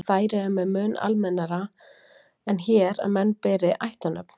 Í Færeyjum er mun almennara en hér að menn beri ættarnöfn.